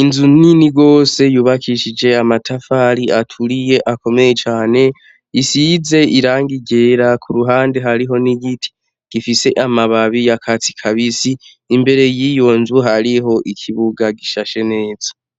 inzu nini gose yubakishije amatafari aturiye akomeye cane. Isize irangi ryera ku ruhande hariho n'igiti gifise amababi y'akatsi kabisi. Imbere yiyo hariho ikibuga gishashe neza.